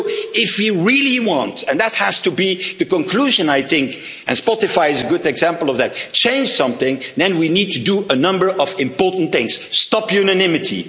5G. So if we really want and this has to be the conclusion, I think, and Spotify is a good example to change something, then we need to do a number of important things stop